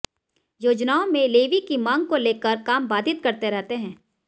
योजनाओं में लेवी की मांग को लेकर काम बाधित करते रहते हैं